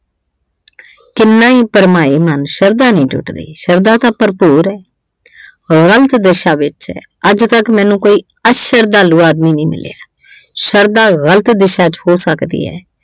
ਕਿੰਨਾ ਹੀ ਭਰਮਾਏ ਮਨ, ਸ਼ਰਧਾ ਨੀ ਟੁੱਟਦੀ। ਸ਼ਰਧਾ ਤਾਂ ਭਰਪੂਰ ਏ, ਗਲਤ ਦਿਸ਼ਾ ਵਿੱਚ ਏ। ਅੱਜ ਤੱਕ ਮੈਨੂੰ ਕੋਈ ਅਸ਼ਰਧਾਲੂ ਆਦਮੀ ਨਹੀਂ ਮਿਲਿਆ। ਸ਼ਰਧਾ ਗਲਤ ਦਿਸ਼ਾ ਵਿੱਚ ਹੋ ਸਕਦੀ ਏ।